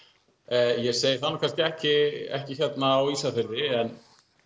ég segi það nú kannski ekki ekki hérna á Ísafirði en